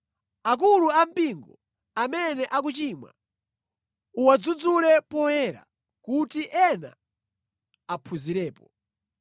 Akulu ampingo amene akuchimwa, uwadzudzule poyera kuti ena aphunzirepo.